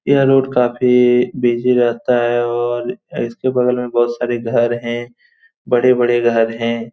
यह रोड काफी बिजी रहता है और इसके बगल में बहुत सारे घर है बड़े-बड़े घर है।